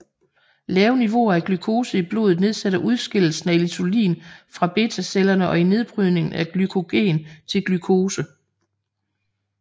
Lave niveauer af glukose i blodet nedsætter udskillelsen af insulin fra betacellerne og i nedbrydningen af glykogen til glukose